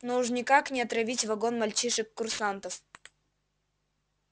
но уж никак не отравить вагон мальчишек-курсантов